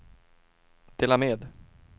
dela med